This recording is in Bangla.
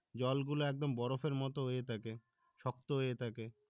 জলগুলো একদম বরফের মতো হয়ে থাকে, শক্ত হয়ে থাকে